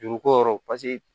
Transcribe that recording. Juru ko yɔrɔ paseke